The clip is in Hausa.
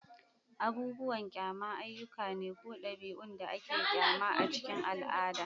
Abubuwan kyama ayyuka ne ko ɗabi'un da ake kyama a cikin al'ada.